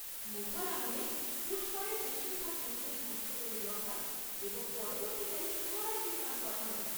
মুঘল আমলে পুষ্করের বেশিরভাগ মন্দির ধ্বংস করে দেওয়া হয় এবং পরবর্তীকালে পুনরায় নির্মাণ করা হয়।